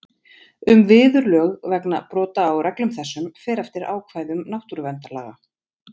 Um viðurlög vegna brota á reglum þessum fer eftir ákvæðum náttúruverndarlaga.